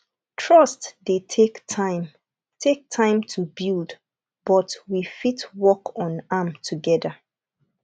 trust dey take time take time to build but we fit work on am together